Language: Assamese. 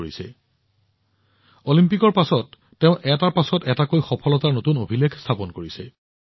আনকি অলিম্পিকৰ পাছতো তেওঁ এটাৰ পিছত এটাকৈ সফলতাৰ নতুন অভিলেখ স্থাপন কৰিছে